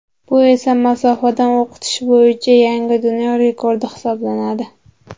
Bu esa masofadan o‘qitish bo‘yicha yangi dunyo rekordi hisoblanadi.